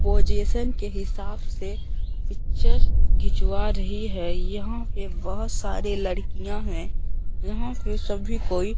position के हिसाब से पिक्चर घिचवा रही है यहां पे बहोत सारी लड़कियां हैं यहां से सभी कोई--